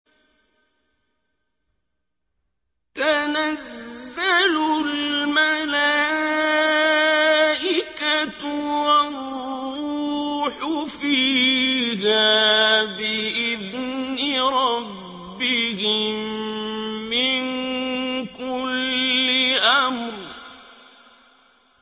تَنَزَّلُ الْمَلَائِكَةُ وَالرُّوحُ فِيهَا بِإِذْنِ رَبِّهِم مِّن كُلِّ أَمْرٍ